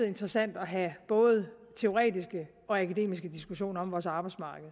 interessant at have både teoretiske og akademiske diskussioner om vores arbejdsmarked